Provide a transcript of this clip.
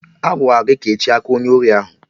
Agwara gị kechie aka onye ori ahụ!